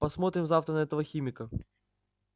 посмотрим завтра на этого химика